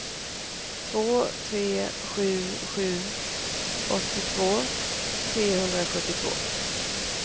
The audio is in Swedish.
två tre sju sju åttiotvå trehundrasjuttiotvå